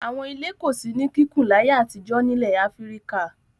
Àwọn ilé kò sí ní kíkùn láyé àtijọ́ nílẹ̀ Áfíríkà.